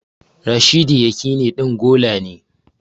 Rashidi Yakini ɗin gola ne